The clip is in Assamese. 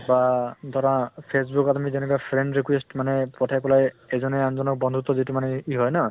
বা ধৰা facebook ত আমি যেনেকা friend request মানে পঠাই পালে এজনে আন জনক বন্ধুত্ব যিটো মানে ই হয় ন